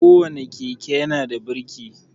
Ko wane keke ya na da birki